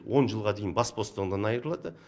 он жылға дейін бас бостандығынан айырылады